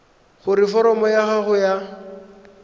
gore foromo ya gago ya